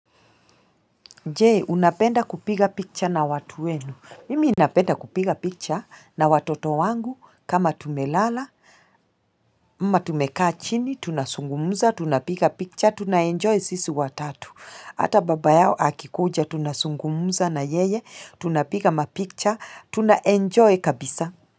Jee, unapenda kupiga picture na watu wenu? Mimi napenda kupiga picha na watoto wangu kama tumelala, ama tumekachini, tunazungumza, tunapiga picha, tuna enjoy sisi watatu. Hata baba yao akikuja, tunazungumza na yeye, tunapiga mapicha, tuna enjoy kabisa.